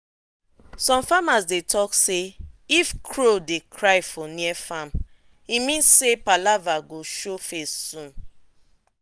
some farmers be dem talk say if crow dey cry for near farm e mean say palava go show face soon.